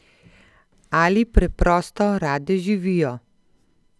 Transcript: Ali preprosto rade živijo?